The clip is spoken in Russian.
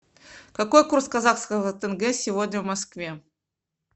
какой курс казахского тенге сегодня в москве